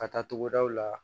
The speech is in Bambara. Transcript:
Ka taa togodaw la